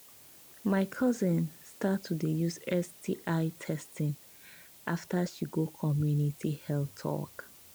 my cousin start to they use sti testing after she go community health talk